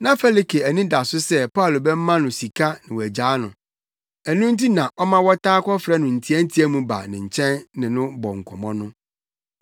Na Felike ani da so sɛ Paulo bɛma no sika na wagyaa no, ɛno nti na ɔma wɔtaa kɔfrɛ no ntiantia mu ba ne nkyɛn ne no bɔ nkɔmmɔ no.